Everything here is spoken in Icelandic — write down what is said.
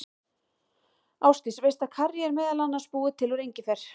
Ásdís, veistu að karrí er meðal annars búið til úr engifer?